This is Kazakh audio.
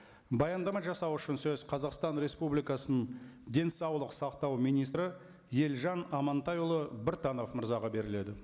баяндама жасау үшін сөз қазақстан республикасының денсаулық сақтау министрі елжан амантайұлы біртанов мырзаға беріледі